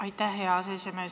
Aitäh, hea aseesimees!